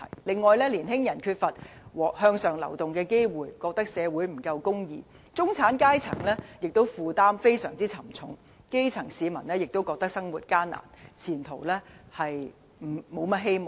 另外，年輕人缺乏向上流動的機會，覺得社會不夠公義；中產階層的負擔亦非常沉重；基層市民亦覺得生活艱難，前途無甚希望。